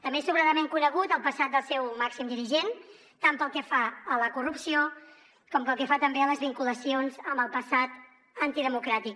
també és sobradament conegut el passat del seu màxim dirigent tant pel que fa a la corrupció com pel que fa també a les vinculacions amb el passat antidemocràtic